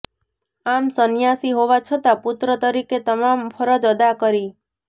આમ સંન્યાસી હોવા છતાં પુત્ર તરીકે તમામ ફરજ અદા કરી